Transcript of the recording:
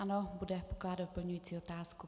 Ano, bude pokládat doplňující otázku.